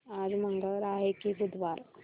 आज मंगळवार आहे की बुधवार